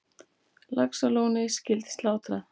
Laxalóni skyldi slátrað.